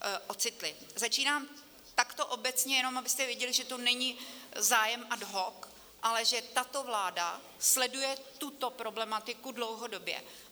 Začínám takto obecně, jenom abyste věděli, že to není zájem ad hoc, ale že tato vláda sleduje tuto problematiku dlouhodobě.